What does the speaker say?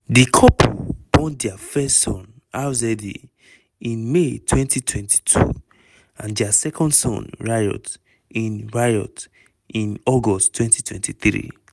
di couple born dia first son rza in may 2022 and dia second son riot in riot in august 2023.